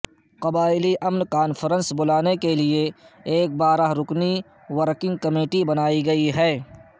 قبائلی امن کانفرنس بلانے کے لیے ایک بارہ رکنی ورکنگ کمیٹی بنائی گئی ہے